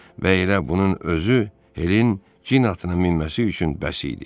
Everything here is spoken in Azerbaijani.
Və elə bunun özü Helin cin atına minməsi üçün bəs idi.